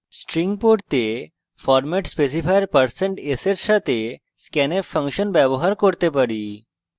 string পড়তে আমরা format specifier% s এর সাথে scanf ফাংশন ব্যবহার করতে পারি